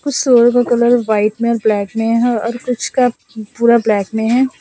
कुछ सूअर का कलर व्हाइट में है और ब्लैक में है और कुछ का पूरा ब्लैक में है।